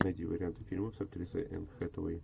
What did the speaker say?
найди варианты фильмов с актрисой энн хэтэуэй